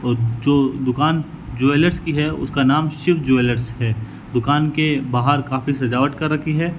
और जो दुकान ज्वेलर्स की है उसका नाम शिव ज्वेलर्स है दुकान के बाहर काफी सजावट कर रखी है।